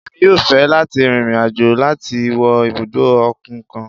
Emí yọọ fẹ lati rín irín-ajò lati wo ibudọ okun kan